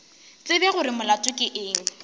tsebe gore molato ke eng